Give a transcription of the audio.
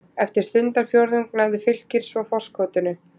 Eftir stundarfjórðung náði Fylkir svo forskotinu.